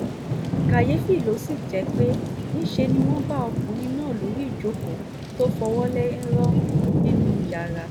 kàyééfì ló sì jẹ́ pé níṣẹ́ ni wọ́n bá ọkùnrin náà lórí ìjókòó tó fọwọ́ lẹ́rán nínú yàrá